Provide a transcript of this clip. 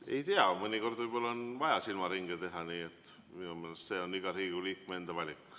Ei tea, mõnikord võib-olla on vaja silmaringe teha, nii et minu meelest see on iga Riigikogu liikme enda valik.